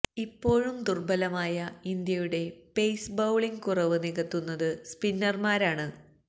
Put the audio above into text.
ഇപ്പോഴും ദുർബലമായ ഇന്ത്യയുടെ പെയ്സ് ബൌളിംഗിന്റെ കുറവ് നികത്തുന്നത് സ്പിന്നർമാരാണ്